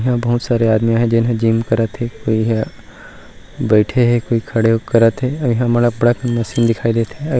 अउ इहा बहुत सारे आदमी आहे जे जिम करात हे कोई हा बईठे हे कोई खड़े होक करत हे और इहा मोला अब्बड़ अकन मशीन दिखाई देत हे।